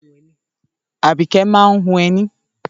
Àbíkẹ́ máa ń hun ẹní.